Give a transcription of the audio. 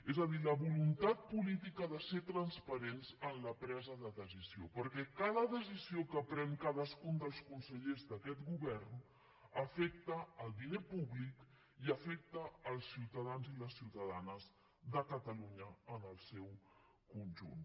és a dir la voluntat política de ser transparent en la presa de decisions perquè cada decisió que pren cadascun dels consellers d’aquest govern afecta el diner públic i afecta els ciutadans i les ciutadanes de catalunya en el seu conjunt